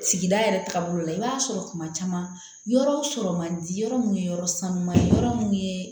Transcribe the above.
Sigida yɛrɛ taabolo la i b'a sɔrɔ kuma caman yɔrɔw sɔrɔ man di yɔrɔ mun ye yɔrɔ sanuya yɔrɔ mun ye